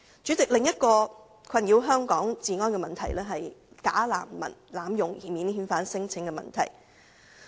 主席，另一個困擾香港治安的問題，是假難民濫用免遣返聲請。